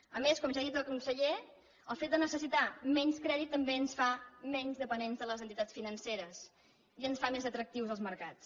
a més com ja ha dit el conseller el fet de necessitar menys crèdit també ens fa menys dependents de les entitats financeres i ens fa més atractius als mercats